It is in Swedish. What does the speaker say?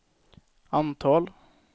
antal